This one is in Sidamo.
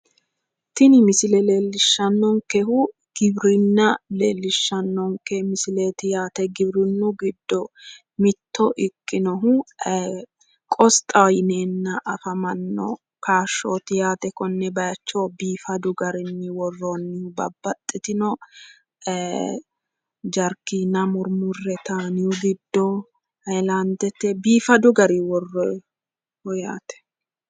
Tini misile leellishshannonkehu giwirinna leellishshannonke misileeti yaate. Giwirinnu giddo mitto ikkinohu qosxaho yineenna afamanno kaashshooti yaate konne bayicho biifadu garinni worroonnihu babbaxxitino jarkeena murmurre taniyu giddo hayilaandete biifadu garinni worroyi yaate.